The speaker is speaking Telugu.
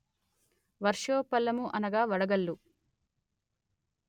వర్షోపలము అనగా వడగల్లు